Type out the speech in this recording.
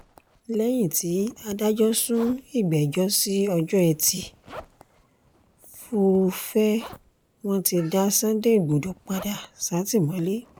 lẹ́yìn tí adájọ́ sún ìgbẹ́jọ́ sí ọjọ́ etí furuufee wọn ti dá sunday igbodò padà sátìmọ́lé